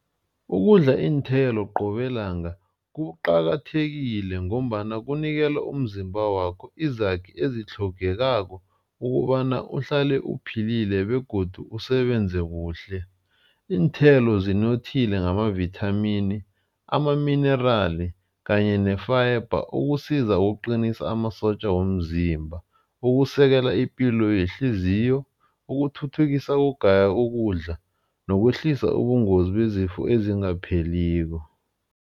Ukudla iinthelo qobe langa kuqakathekile ngombana kunikela umzimba wakho izakhi ezitlhogekako ukobana uhlale uphilile begodu usebenze kuhle. Iinthelo zinothile ngamavithamini, amaminirali kanye ne-fiber. Ukusiza ukuqinisa amasotja womzimba, ukusekela ipilo yehliziyo, ukuthuthukisa ukugaya ukudla nokwehlisa ubungozi bezifo ezingapheliko.